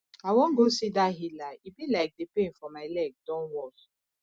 i wan go see dat healer e be like the pain for my leg don worse